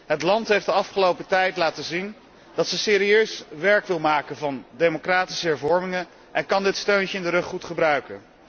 Het land heeft de afgelopen tijd laten zien dat het serieus werk wil maken van democratische hervormingen en kan dit steuntje in de rug goed gebruiken.